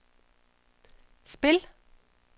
spil